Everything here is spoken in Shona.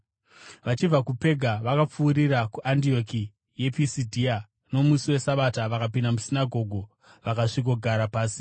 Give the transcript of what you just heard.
Vachibva kuPega vakapfuurira kuAndioki yePisidhia. Nomusi weSabata vakapinda musinagoge vakasvikogara pasi.